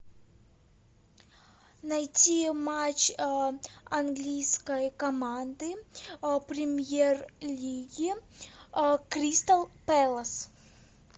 найти матч английской команды премьер лиги кристал пэлас